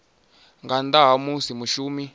nga nnḓa ha musi mushumi